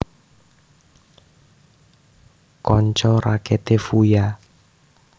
Kanca raketé Fuya